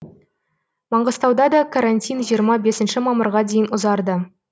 маңғыстауда да карантин жиырма бесінші мамырға дейін ұзарды